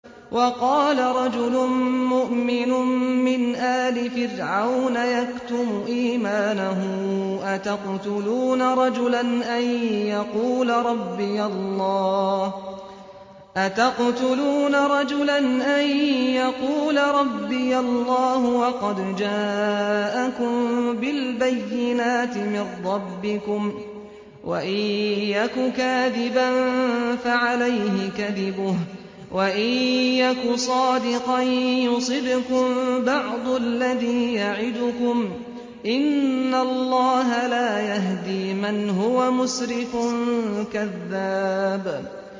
وَقَالَ رَجُلٌ مُّؤْمِنٌ مِّنْ آلِ فِرْعَوْنَ يَكْتُمُ إِيمَانَهُ أَتَقْتُلُونَ رَجُلًا أَن يَقُولَ رَبِّيَ اللَّهُ وَقَدْ جَاءَكُم بِالْبَيِّنَاتِ مِن رَّبِّكُمْ ۖ وَإِن يَكُ كَاذِبًا فَعَلَيْهِ كَذِبُهُ ۖ وَإِن يَكُ صَادِقًا يُصِبْكُم بَعْضُ الَّذِي يَعِدُكُمْ ۖ إِنَّ اللَّهَ لَا يَهْدِي مَنْ هُوَ مُسْرِفٌ كَذَّابٌ